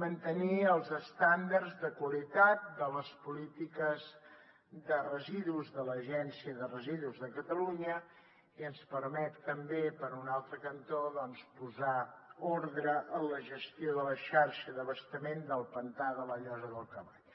mantenir els estàndards de qualitat de les polítiques de residus de l’agència de residus de catalunya i ens permet també per un altre cantó posar ordre en la gestió de la xarxa d’abastament del pantà de la llosa del cavall